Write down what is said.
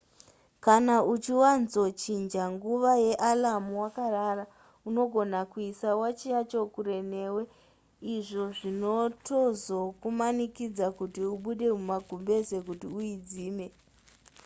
kana uchiwanzochinja nguva yealarm wakarara unogona kuisa wachi yacho kure newe izvo zvinotozokumanikidza kuti ubude mumagumbeze kuti uidzime